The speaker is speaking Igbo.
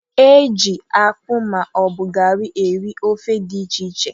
E ji akpụ ma ọ bụ garị eri ofe dị iche iche.